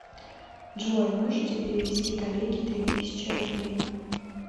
джой можете перевести коллеге три тысячи рублей